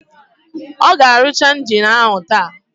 Ọ ga-arụcha injini áhụ̀ taa?